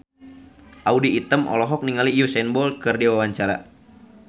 Audy Item olohok ningali Usain Bolt keur diwawancara